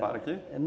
Para aqui?